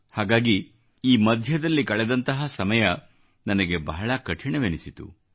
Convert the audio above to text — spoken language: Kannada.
ಹಾಗಾಗಿ ಈ ಮಧ್ಯದಲ್ಲಿ ಕಳೆದಂತಹ ಸಮಯ ನನಗೆ ಬಹಳ ಕಠಿಣವೆನಿಸಿತು